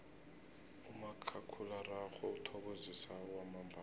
umakhakhulararhwe uthokozisa kwamambala